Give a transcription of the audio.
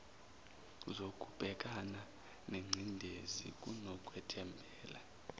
zokubhekana nengcindezi kunokwethembela